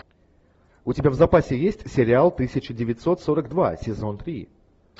у тебя в запасе есть сериал тысяча девятьсот сорок два сезон три